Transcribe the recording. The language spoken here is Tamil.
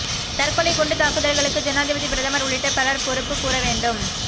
தற்கொலை குண்டு தாக்குதல்களுக்கு ஜனாதிபதி பிரதமர் உள்ளிட்ட பலர் பொறுப்பு கூறவேண்டும்